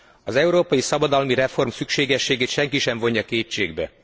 Az európai szabadalmi reform szükségességét senki sem vonja kétségbe.